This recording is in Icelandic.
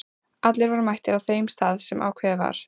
Allir voru mættir á þeim stað sem ákveðið var.